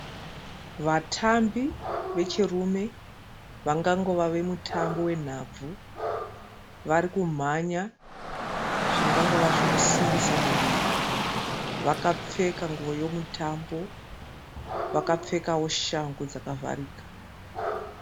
Vatambi vechirume vangangova vemutambo wenhabvu. Vari kumhanya zvingangova zvekusimbisa muviri. Vakapfeka nguwo yomutambo. Vakapfekawo shangu dzakavharika.